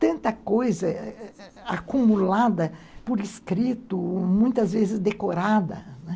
tanta coisa ãh acumulada por escrito, muitas vezes decorada, né.